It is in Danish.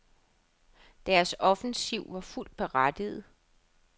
Deres offensiv var fuldt berettiget.